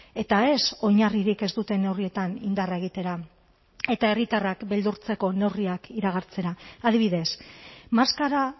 eta ez oinarririk ez duten neurrietan indarra egitera eta herritarrak beldurtzeko neurriak iragartzera adibidez maskara